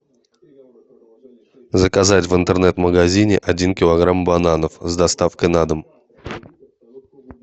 заказать в интернет магазине один килограмм бананов с доставкой на дом